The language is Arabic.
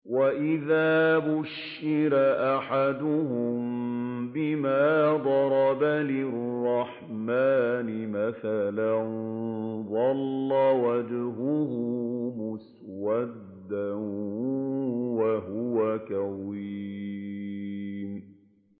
وَإِذَا بُشِّرَ أَحَدُهُم بِمَا ضَرَبَ لِلرَّحْمَٰنِ مَثَلًا ظَلَّ وَجْهُهُ مُسْوَدًّا وَهُوَ كَظِيمٌ